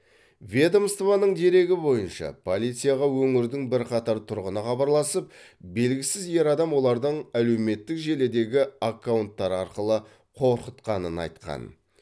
ведомствоның дерегі бойынша полицияға өңірдің бірқатар тұрғыны хабарласып белгісіз ер адам олардың әлеуметтік желідегі аккаунттары арқылы қорқытқанын айтқан